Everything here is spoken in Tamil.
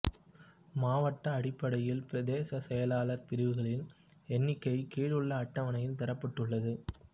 மாவட்ட அடிப்படையில் பிரதேச செயலாளர் பிரிவுகளின் எண்ணிக்கை கீழுள்ள அட்டவணையில் தரப்பட்டுள்ளது